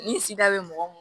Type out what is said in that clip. Ni sida bɛ mɔgɔ